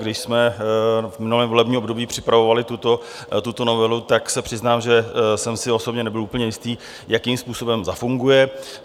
Když jsme v minulém volebním období připravovali tuto novelu, tak se přiznám, že jsem si osobně nebyl úplně jistý, jakým způsobem zafunguje.